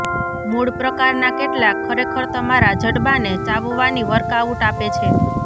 મૂળ પ્રકારના કેટલાક ખરેખર તમારા જડબાંને ચાવવાની વર્કઆઉટ આપે છે